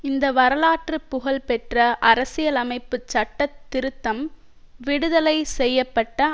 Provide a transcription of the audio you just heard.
இந்த வரலாற்று புகழ் பெற்ற அரசிலமைப்புச் சட்ட திருத்தம் விடுதலை செய்ய பட்ட